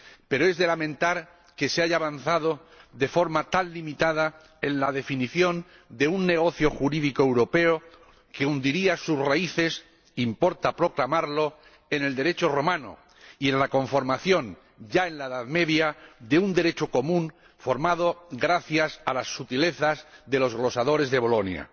Pero es de lamentar que se haya avanzado de forma tan limitada en la definición de un negocio jurídico europeo que hundiría sus raíces —importa proclamarlo— en el Derecho romano y en la conformación, ya en la Edad Media, de un Derecho común formado gracias a las sutilezas de los glosadores de Bolonia.